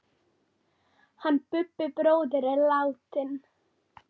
Hann Bubbi bróðir er látinn.